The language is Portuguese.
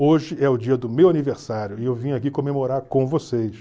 Hoje é o dia do meu aniversário e eu vim aqui comemorar com vocês.